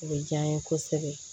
O bɛ diya n ye kosɛbɛ